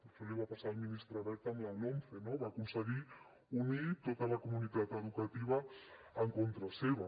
això li va passar al ministre wert amb la lomce no va aconseguir unir tota la comunitat educativa en contra seva